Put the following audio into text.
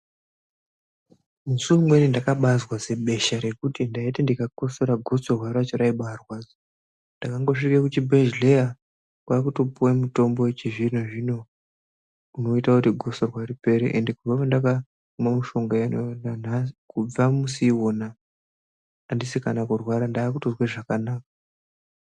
Musi umweni ndakabazwa zibesha rekuti ndaiti ndikakotsora gotsorwa racho raibatorwadza ndakangosvika kuchibhedhlera kwakutopuwa mutombo wechizvino zvino unoita kuti gosorwa ripere asi kubva pandakamwa mushonga uwowo asi andisi kana kurwara ndakunzwa zvakanaka.